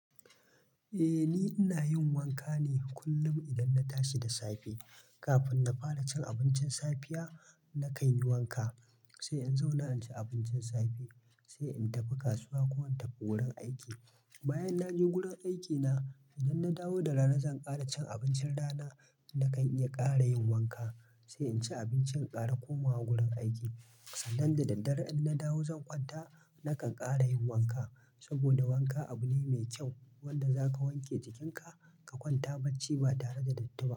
Eh ni ina yin wanka ne kullum idan na tashi da safe. Kafin na fara cin abincin safiya, na kanyi wanka, sai in zauna in ci abincin safe, sai in tafi kasuwa ko in tafi wurin aiki. Bayan na je gurin aikina, idan na dawo da rana zan ƙara cin abincin rana, na kan iya ƙara yin wanka, sai in ci abincin ƙara komawa gurin aiki. Sannan da daddare idan na dawo zan kwanta, na kan ƙara yin wanka. Saboda wanka abu ne mai ƙyau wanda za ka wanke jikinka ka kwanta bacci ba tare da datti ba.